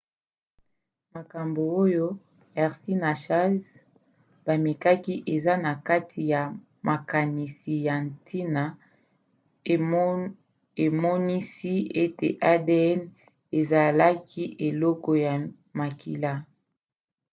makambo oyo hershey na chase bamekaki eza na kati ya makanisi ya ntina emonisi ete adn ezalaki eloko ya makila